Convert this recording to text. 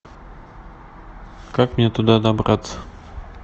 как мне туда добраться